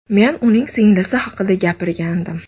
Men uning singlisi haqida gapirgandim.